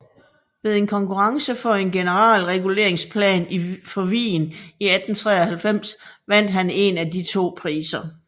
Ved en konkurrence for en generalreguleringsplan for Wien i 1893 vandt han én af de to priser